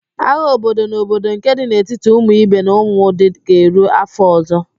Agha obodo na obodo nke dị n'etiti Umuibe na Umudi ga-eru afọ ọzọ